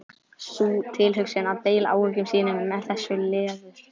Sú tilhugsun að deila áhyggjum sínum með þessu leður